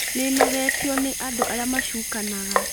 Nĩnogetio nĩ andũ arĩa macukanaga